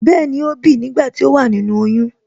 Bẹẹni,ó bìi nígbà tí ó wà nínú oyún